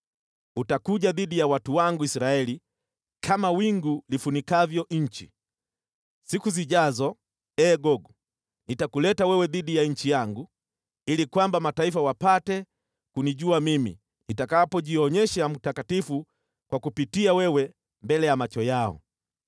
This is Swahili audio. Utakuja dhidi ya watu wangu Israeli kama wingu lifunikavyo nchi. Siku zijazo, ee Gogu, nitakuleta wewe dhidi ya nchi yangu, ili kwamba mataifa wapate kunijua Mimi nitakapojionyesha mtakatifu kwa kukupitia wewe mbele ya macho yao.